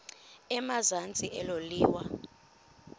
emazantsi elo liwa